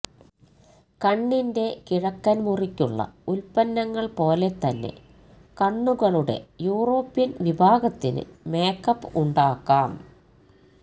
കണ്ണിന്റെ കിഴക്കൻ മുറിക്കുള്ള ഉൽപന്നങ്ങൾ പോലെ തന്നെ കണ്ണുകളുടെ യൂറോപ്യൻ വിഭാഗത്തിന് മേക്കപ്പ് ഉണ്ടാക്കാം